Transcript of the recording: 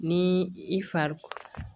Ni i fari